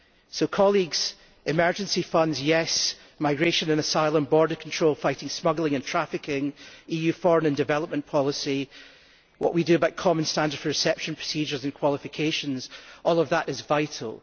So colleagues, yes, emergency funds, migration and asylum border control, fighting smuggling and trafficking, EU foreign and development policy, what we do about common standards for reception procedures and qualifications all of that is vital.